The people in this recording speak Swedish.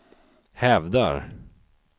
hävdar